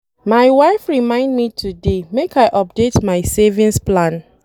My wife remind me today make I update my savings plan